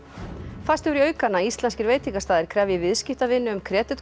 færst hefur í aukana að íslenskir veitingastaðir krefji viðskiptavini um